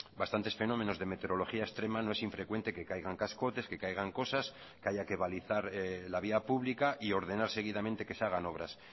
bastantes fenómenos de meteorología extrema no es infrecuente que caigan cascotes que caigan cosas que haya que balizar la vía pública y ordenar seguidamente que se hagan obras